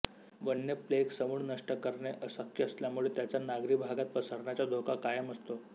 वन्य प्लेग समूळ नष्ट करणे अशक्य असल्यामुळे त्याचा नागरी भागात पसरण्याचा धोका कायम असतो